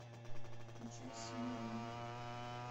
включай симорон